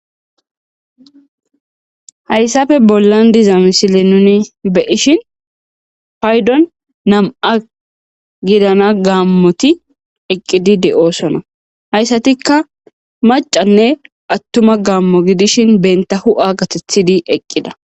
Hayssafe bollan diza misile nuni beyishin paydon nam,a gidana gaammoti eqqidi de7oosona hayssatikka macanne attuma gaammo gidishin benta hu7a gatethidi eqqida.